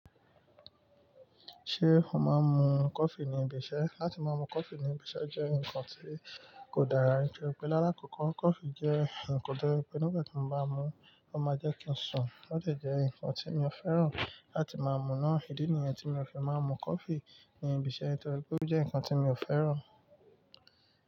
Ṣé mo máa ń mu coffee ní ibi iṣẹ́? Látí máa mú coffee ní ibi iṣẹ́ jẹ́ ǹkan tí kò dára, nítorí pé l'ála kọ̀ọ̀ko coffee jẹ́ ǹkan tó je pé nígbàtí mo bá mú un, ó máa jẹ́ kí ń sùn, ó de jẹ́ ǹkan tí mi ò fẹ́ràn láti máa mú náà. Ìdí nìyẹn tí mi ò fi máa ń mú coffee ní ibi iṣẹ́, nítorí pé ó jẹ́ ǹkan tí mi ò fẹ́ràn.